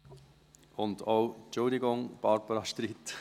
Bitte entschuldigen Sie, Barbara Streit.